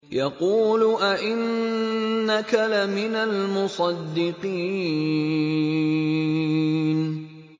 يَقُولُ أَإِنَّكَ لَمِنَ الْمُصَدِّقِينَ